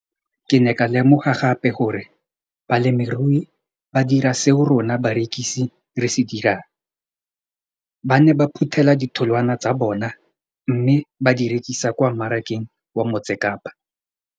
Ke ne ka lemoga gape gore balemirui ba dira seo rona barekisi re se dirang, ba ne ba phuthela ditholwana tsa bona mme ba di rekisa kwa marakeng wa Motsekapa.